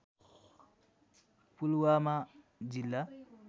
पुलवामा जिल्ला